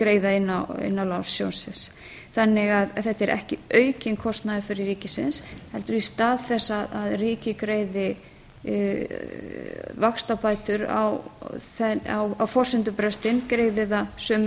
að niðurgreiða eða greiða inn lán sjóðsins þannig að þetta er ekki aukinn kostnaður fyrir ríkið heldur í stað þess að ríkið greiði vaxtabætur á forsendubrestinn greiðir hann sömu